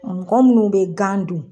Mɔgɔ munnu be gan dun